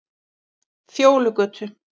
Fjólugötu